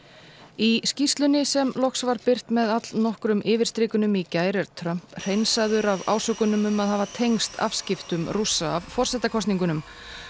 í skýrslunni sem loks var birt með allnokkrum yfirstrikunum í gær er Trump hreinsaður af ásökunum um að hafa tengst afskiptum Rússa af forsetakosningunum